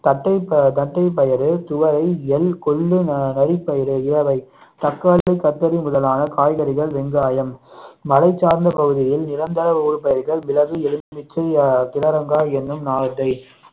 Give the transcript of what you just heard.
தட்டை தட்டைப்பயிறு, துவரை, எள், கொள்ளு, நரி பயிறு இவை தக்காளி கத்தரி முதலான காய்கறிகள் வெங்காயம் மலைச்சார்ந்த பகுதியில் நிரந்தர ஊடுபயிர்கள் மிளகு, எலுமிச்சை, துவரங்காய் என்னும் நாரத்தை